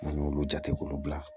N'an y'olu jate k'olu bila